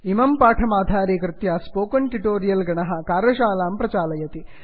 इमं पाठमाधारीकृत्य spoken tutorial गणः कार्यशालां प्रचालयति